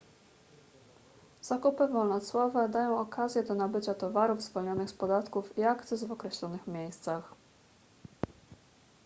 zakupy wolnocłowe dają okazję do nabycia towarów zwolnionych z podatków i akcyz w określonych miejscach